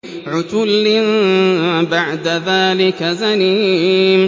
عُتُلٍّ بَعْدَ ذَٰلِكَ زَنِيمٍ